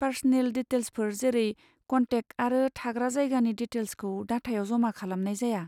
Personal डिटेल्सफोर जेरै contact आरो थाग्रा जायगानि डिटेल्सखौ डाटायाव जमा खालामनाय जाया।